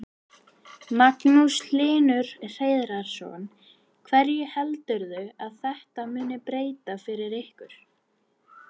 Magnús Hlynur Hreiðarsson: Hverju heldurðu að þetta muni breyta fyrir ykkur?